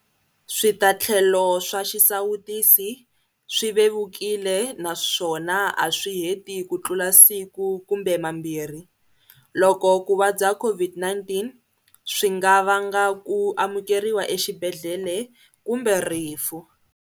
Switatlhelo swa xisawutisi swi vevukile naswona a swi heti kutlula siku kumbe mambirhi, loko ku vabya COVID-19 swi nga vanga ku amukeriwa exibedhlele kumbe rifu.